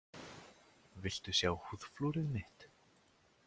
Viltu sjá húðflúrið mitt?